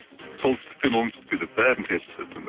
солтүстіктен оңтүстікке деп бәрін теріс